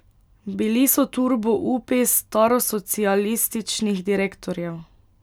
Bili so turbo upi starosocialističnih direktorjev.